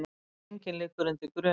Enginn liggur undir grun